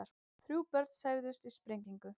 Þrjú börn særðust í sprengingu